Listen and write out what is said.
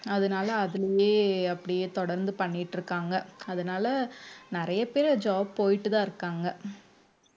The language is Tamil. அதனால அதிலேயே அப்படியே தொடர்ந்து பண்ணிட்டு இருக்காங்க அதனால நிறைய பேர் job போயிட்டுதான் இருக்காங்க